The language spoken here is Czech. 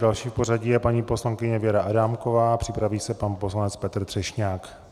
Další v pořadí je paní poslankyně Věra Adámková, připraví se pan poslanec Petr Třešňák.